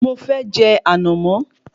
Mo fẹ́ je ànàmọ́